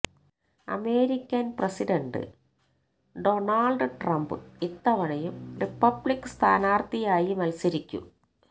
American president Donald Trump ഇത്തവണയും republic സ്ഥാനാർത്ഥിയായി മത്സരിക്കും